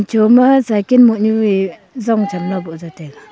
joma cyken moh nyu e zong chan la boh jaw taiga.